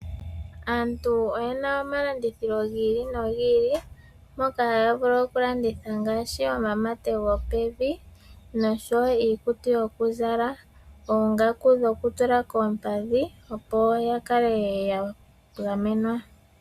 Aantu oyena omalandithilo gi ili nogi ili mpoka haya vulu okulanditha ngaashi omamate gopevi noshowo iikutu yokuzala , oongaku dhoku tula koompadhi opo yakale ya gamenwa.